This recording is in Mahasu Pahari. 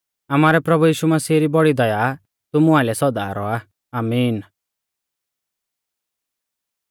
आमारै प्रभु यीशु री बौड़ी दया तुमु आइलै सौदा रौआ आमीन